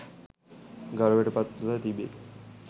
ගෞරවයට පත්ව තිබේ.